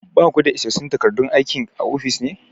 Ba ku da isassun takardun aikin a ofis ne?